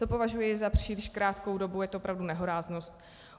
To považuji za příliš krátkou dobu, je to opravdu nehoráznost.